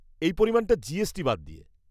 -এই পরিমাণটা জিএসটি বাদ দিয়ে।